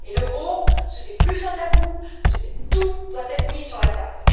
L'euro n'est plus un tabou tout doit être mis sur la table.